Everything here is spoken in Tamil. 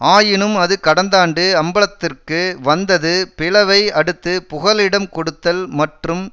ஆயினும் அது கடந்தாண்டு அம்பலத்திற்கு வந்தது பிளவை அடுத்து புகலிடம் கொடுத்தல் மற்றும்